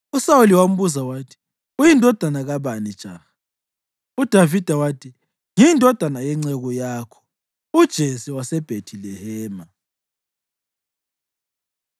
USawuli wambuza wathi, “Uyindodana kabani, jaha?” UDavida wathi, “Ngiyindodana yenceku yakho uJese waseBhethilehema.”